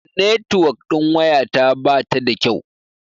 Netuwok ɗin waya ta bata da kyau.